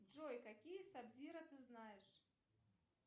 джой какие саб зиро ты знаешь